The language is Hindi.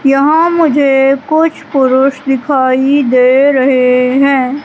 यहां मुझे कुछ पुरुष दिखाई दे रहे हैं।